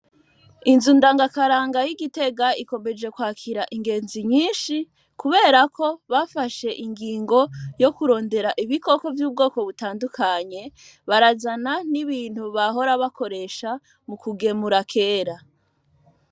Inzu ndangakaranga y'igitega ikomeje kwakira ingenzi nyinshi kuberako bafashe ingingo yo kurondera ibikoko vy'ubwoko butandukanye barazana n'ibintu bahora bakoresha mu kugemura kera.